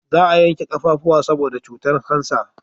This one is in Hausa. Za a yanke kafafuwa saboda cutan kansa